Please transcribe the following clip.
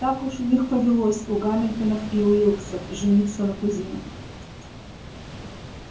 так уж у них повелось у гамильтонов и уилксов жениться на кузинах